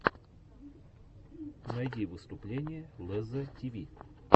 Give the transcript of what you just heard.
найди выступление лезза тиви